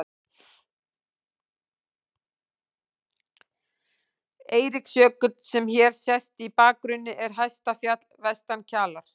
Eiríksjökull, sem hér sést í bakgrunni, er hæsta fjall vestan Kjalar.